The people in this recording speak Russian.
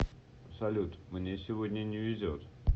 салют мне сегодня не везет